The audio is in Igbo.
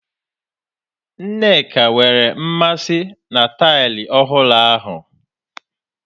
Nneka nwere mmasị na taịlị ọhụrụ ahu.